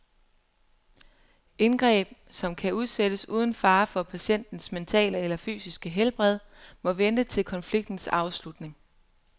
Indgreb, som kan udsættes uden fare for patientens mentale eller fysiske helbred, må vente til konfliktens afslutning.